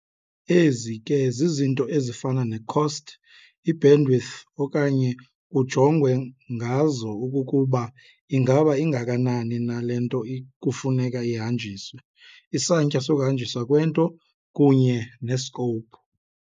Ezi ke zizinto ezifana ne-cost, i-bandwidth okanye kujongwe ngazo okokuba ingaba ingakanani na le nto kufuneka ihanjiswe, isantya sokuhanjiswa kwento kunye ne-scope.